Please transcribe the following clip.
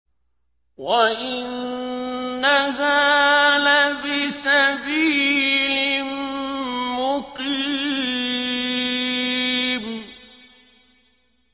وَإِنَّهَا لَبِسَبِيلٍ مُّقِيمٍ